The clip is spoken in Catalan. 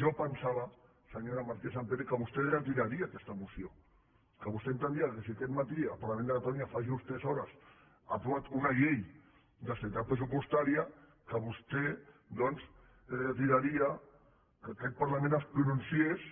jo pensava senyora martínez sampere que vostè retiraria aquesta moció que vostè entendria que si aquest matí el parlament de catalunya fa just tres hores ha aprovat una llei d’estabilitat pressupostària que vostè doncs retiraria que aquest parlament es pronunciés